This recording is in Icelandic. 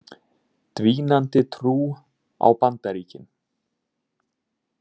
Dvínandi trú á Bandaríkin